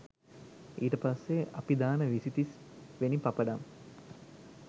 ඊට පස්සේ අපි දාන විසි තිස් වෙනි පපඩම්